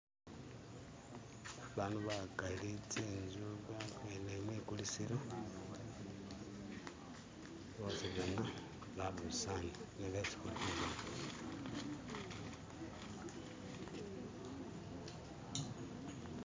Abantu bagali, zinzu, baminanile mwigulisilo bosizana babusanile. Nibo besi ndikubona.